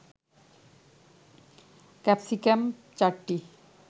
capsicum ৪টি